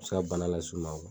U bɛ se ka banna las'u ma